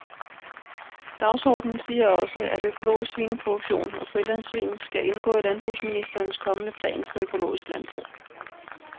Dagsordenen siger også, at økologisk svineproduktion og frilandssvin skal indgå i landbrugsministerens kommende plan for økologisk landbrug.